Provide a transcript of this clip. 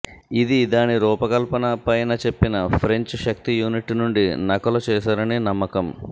ఇది దాని రూపకల్పన పైన చెప్పిన ఫ్రెంచ్ శక్తి యూనిట్ నుండి నకలు చేశారని నమ్మకం